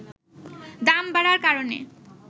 দাম বাড়ার কারণে